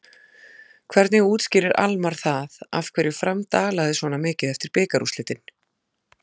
Hvernig útskýrir Almarr það af hverju Fram dalaði svona mikið eftir bikarúrslitin?